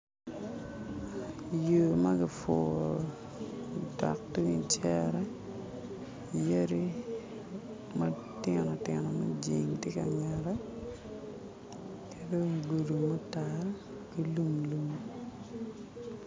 Yo ma gipuro odok tung i cere, yadi matinotino mujing tye ka ngette ki dong gudo mutal ki dong lum lum